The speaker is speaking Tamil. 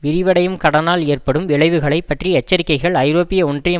விரிவடையும் கடனால் ஏற்படும் விளைவுகளை பற்றி எச்சரிக்கைகள் ஐரோப்பிய ஒன்றியம்